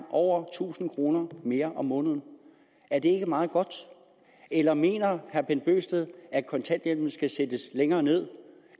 over tusind kroner mere om måneden er det ikke meget godt eller mener herre bent bøgsted at kontanthjælpen skal sættes længere ned